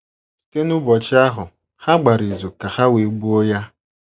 “ Site n’ụbọchị ahụ ha gbara izu ka ha wee gbuo Ya. ”